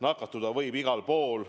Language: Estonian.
Nakatuda võib igal pool.